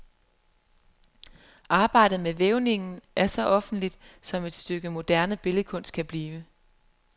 Arbejdet med vævningen er så offentlig, som et stykke moderne billedkunst kan blive.